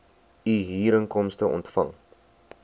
u huurinkomste ontvang